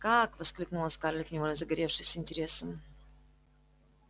как воскликнула скарлетт невольно загоревшись интересом